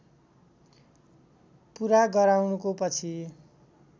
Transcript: पूरा गराउनको पछि